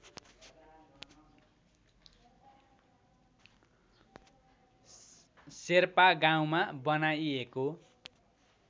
शेर्पा गाउँमा बनाइएको